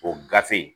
O gafe